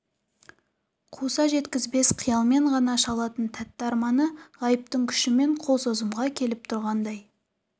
қуса жеткізбес қиялмен ғана шалатын тәтті арманы ғайыптың күшімен қол созымға келіп тұрғандай